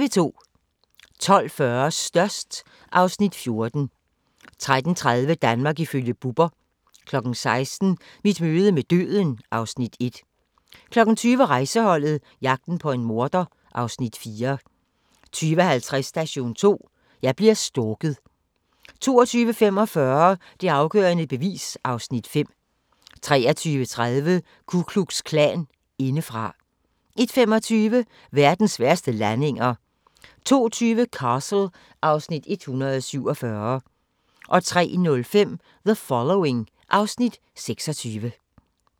12:40: Størst (Afs. 14) 13:30: Danmark ifølge Bubber 16:00: Mit møde med døden (Afs. 1) 20:00: Rejseholdet - jagten på en morder (Afs. 4) 20:50: Station 2: Jeg bliver stalket 22:45: Det afgørende bevis (Afs. 5) 23:30: Ku Klux Klan indefra 01:25: Verdens værste landinger 02:20: Castle (Afs. 147) 03:05: The Following (Afs. 26)